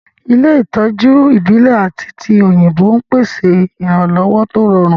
Ilé ìtọ́jú ìbílẹ̀ àti ti òyìnbó ń pèsè ìrànlọ́wọ́ tó rọrùn